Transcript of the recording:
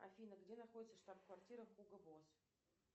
афина где находится штаб квартира хуго босс